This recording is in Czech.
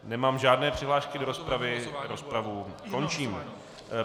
Nemám žádné přihlášky do rozpravy, rozpravu končím.